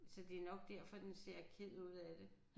Så det nok derfor den ser ked ud af det